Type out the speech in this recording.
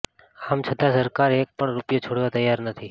અામ છતાં સરકાર અેક પણ રૂપિયો છોડવા તૈયાર નથી